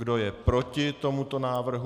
Kdo je proti tomuto návrhu?